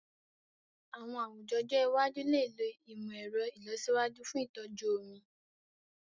Àwọn àwùjọ ọjọ́ iwájú lè lo ìmọ̀ ẹ̀rọ ìlọsíwájú fún ìtọ́jú omi.